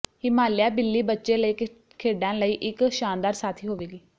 ਹਿਮਾਲਿਆ ਬਿੱਲੀ ਬੱਚੇ ਲਈ ਖੇਡਾਂ ਲਈ ਇੱਕ ਸ਼ਾਨਦਾਰ ਸਾਥੀ ਹੋਵੇਗੀ